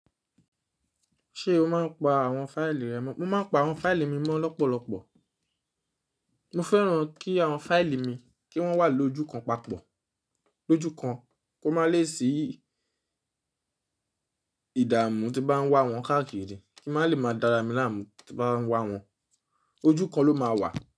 Ṣé o máa ń pa àwọn fáìlì rẹ mọ́? Mo máa ń pa àwọn fáìlì mi mọ́ lọ́pọ̀lọpọ̀. Mo fẹ́ràn kí àwọn fáìlì mi kí wọ́n wà lójú kan papọ̀. Lójú kan kó má lè sí ìdààmú tí bá ń wá wọn káàkiri, kí má lè máa dára mi láàmú tí bá ń wá wọn. Ojú kan ló máa wà.